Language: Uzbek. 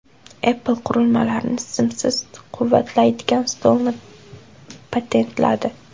Apple qurilmalarni simsiz quvvatlaydigan stolni patentladi .